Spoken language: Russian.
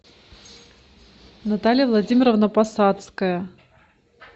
наталья владимировна посадская